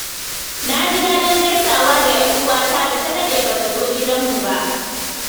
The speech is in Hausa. Na ji daɗin gaisawa da ‘yar uwata da ta daɗe ba ta zo gidanmu ba.